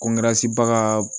Ko